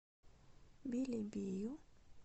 белебею